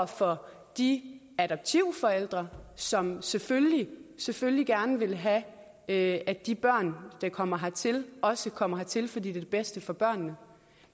for de adoptivforældre som selvfølgelig selvfølgelig gerne vil have at de børn der kommer hertil også kommer hertil fordi det bedste for børnene